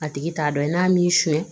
A tigi t'a dɔn n'a m'i sonyɛ